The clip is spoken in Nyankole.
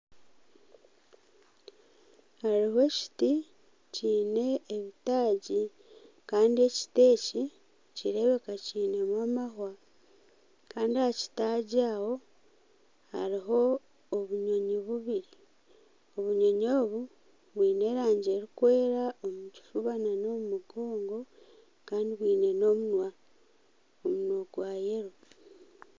Hariho ekiti kine ebitaagi kandi ekiti Eki nikireebeka kineho amahwa Kandi aha kitaagi aho hariho obunyonyi bubiri obunyonyi obu bwine erangi erikwera omu kifuba n'omu mugongo Kandi bwine n'omunwa gwa yero.